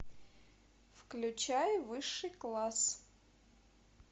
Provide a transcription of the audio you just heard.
включай высший класс